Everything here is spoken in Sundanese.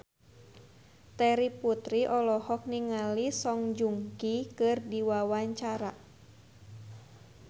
Terry Putri olohok ningali Song Joong Ki keur diwawancara